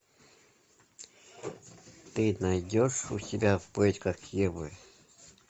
ты найдешь у себя в поисках евы